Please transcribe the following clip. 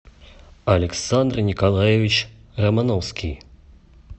александр николаевич романовский